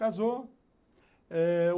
Casou eh